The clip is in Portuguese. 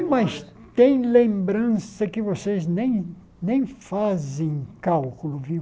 Mas tem lembrança que vocês nem nem fazem cálculo, viu?